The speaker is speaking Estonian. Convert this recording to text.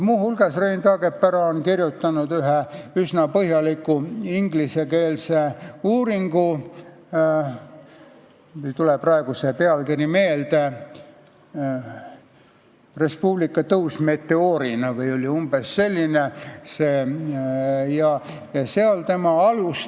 Muu hulgas on Rein Taagepera kirjutanud ühe üsna põhjaliku ingliskeelse uurimuse "Tõus meteoorina: Res Publica Eestis 2001–2004".